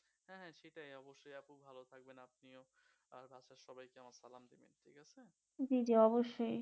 জি অবশ্যই